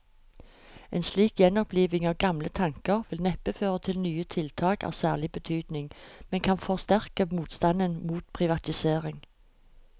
En slik gjenoppliving av gamle tanker vil neppe føre til nye tiltak av særlig betydning, men kan forsterke motstanden mot privatisering.